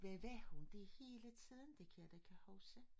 Der var hun da hele tiden det kan jeg da kan hsuke